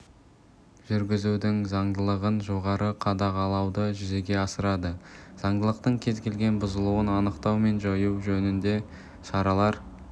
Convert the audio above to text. жүргізудің заңдылығын жоғары қадағалауды жүзеге асырады заңдылықтың кез келген бұзылуын анықтау мен жою жөнінде шаралар